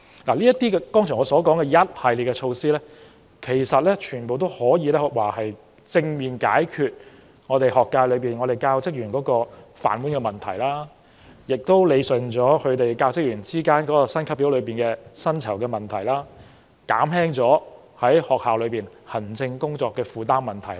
我剛才提到的一系列措施，全都旨在正面解決教育界內教職員的"飯碗"問題、理順教職員的薪級表、薪酬等問題，以及減輕學校校長和教師的行政工作負擔。